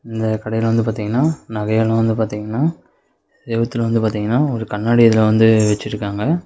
இந்த கடையில் வந்து பாத்தீங்கன்னா நகை எல்லா வந்து பாத்தீங்கன்னா செவுத்துல வந்து பாத்தீங்கன்னா ஒரு கண்ணாடி இதுல வந்து வச்சிருக்காங்க.